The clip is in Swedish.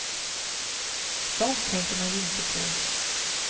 Sånt tänker man ju inte på.